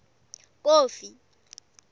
kofi